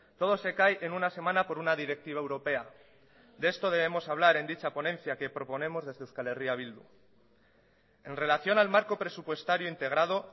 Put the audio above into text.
todo se cae en una semana por una directiva europea de esto debemos hablar en dicha ponencia que proponemos desde euskal herria bildu en relación al marco presupuestario integrado